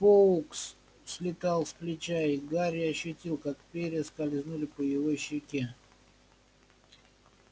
фоукс слетел с плеча и гарри ощутил как перья скользнули по его щеке